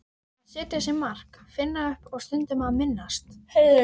Að setja sér mark, finna upp og stundum að minnast.